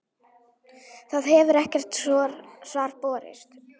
Það hefur ekkert svar borist.